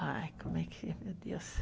Ai, como é que, meu Deus.